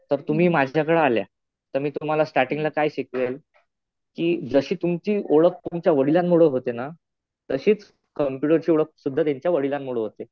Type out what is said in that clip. तर तुम्ही माझ्याकडं आल्या तर मी स्टार्टींगला तुम्हाला काय शिकवेल कि जशी तुमची ओळख तुमच्या वडिलांमुळं होते ना तशीच कम्प्युटरची ओळख सुद्धा त्याच्या वडिलांमुळं होते.